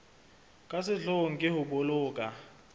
ka sehloohong ke ho boloka